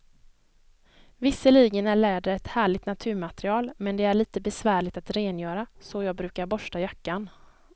Visserligen är läder ett härligt naturmaterial, men det är lite besvärligt att rengöra, så jag brukar borsta jackan.